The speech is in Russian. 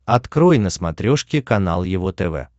открой на смотрешке канал его тв